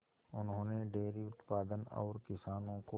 उन्होंने डेयरी उत्पादन और किसानों को